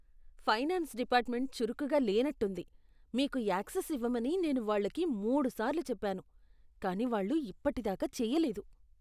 Finance department చురుకుగా లేనట్టుంది. మీకు యాక్సెస్ ఇవ్వమని నేను వాళ్లకి మూడు సార్లు చెప్పాను, కానీ వాళ్ళు ఇప్పటిదాకా చేయలేదు.